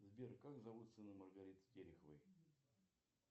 сбер как зовут сына маргариты тереховой